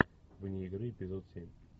вне игры эпизод семь